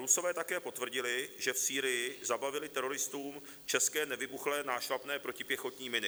Rusové také potvrdili, že v Sýrii zabavili teroristům české nevybuchlé nášlapné protipěchotní miny.